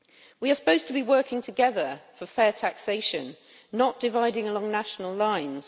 We are supposed to be working together for fair taxation, not dividing along national lines.